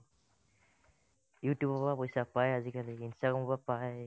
you tube ৰ পৰা পইচা পাই আজিকালি instagram ৰ পৰা পাই